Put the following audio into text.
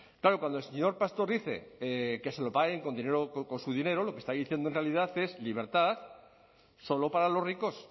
claro cuando el señor pastor dice que se lo paguen con su dinero lo que está diciendo en realidad es libertad solo para los ricos